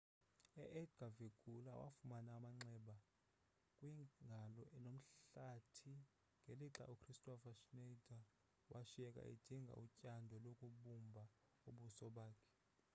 u-edgar verguilla wafumana amanxeba kwingalo nomhlathi ngelixa ukristofer schneider washiyeka edinga utyando lokubumbha ubuso bakhe